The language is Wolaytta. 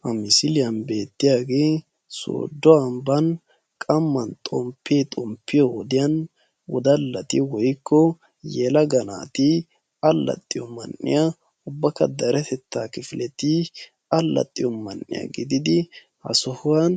Ha misiliyan beettiyaagee sooddo ambban qamman xomppe xomppiyo wodiyan wodallati woyikko yelaga naati allaxxiyo man"iyaa ubbakka deretettaa kifileti allaxxiyo man"iyaa gididi ha sohuwan